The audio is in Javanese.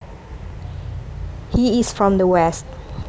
He is from the west